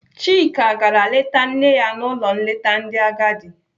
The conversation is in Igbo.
Chika gara leta nne ya n'ụlọ nleta ndị agadi.